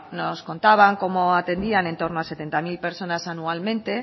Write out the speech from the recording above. nos contaban cómo atendían en torno a setenta mil personas anualmente